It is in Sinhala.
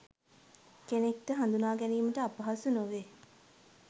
කෙනෙක්ට හදුනාගැනීමට අපහසු නොවේ